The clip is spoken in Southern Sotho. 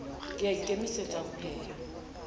ke a ikemisetsa ho pheha